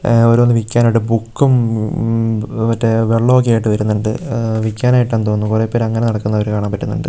ഏഹ് ഓരോന്ന് വിക്കാനായിട്ട് ബുക്കും മ്മ് മറ്റേ വെള്ളവുമൊക്കെയായിട്ട് വരുന്നുണ്ട് ഉഹ് വിക്കാനായിട്ടാന്ന് തോന്നു കുറേ പേരങ്ങനെ നടക്കുന്നവര് കാണാൻ പറ്റുന്നുണ്ട്.